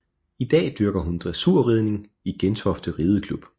I dag dyrker hun dressurridning i Gentofte Rideklub